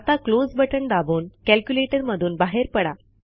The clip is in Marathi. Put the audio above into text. आता क्लोज बटन दाबून कॅल्क्युलेटरमधून बाहेर पडा